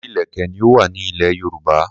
Orísirísi ìlèkè ni ó wà ní ilẹ̀ Yorùbá.